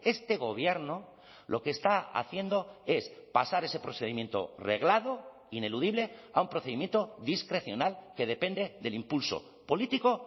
este gobierno lo que está haciendo es pasar ese procedimiento reglado ineludible a un procedimiento discrecional que depende del impulso político